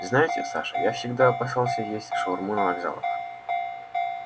знаете саша я всегда опасался есть шаурму на вокзалах